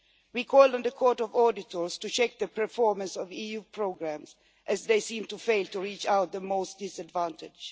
We call on the Court of Auditors to check the performance of EU programmes, as they seem to fail to reach out to the most disadvantaged.